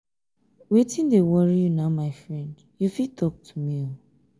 wetin dey worry you my friend you fit talk to me?